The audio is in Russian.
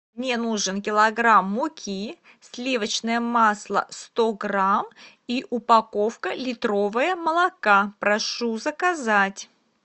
мне нужен килограмм муки сливочное масло сто грамм и упаковка литровая молока прошу заказать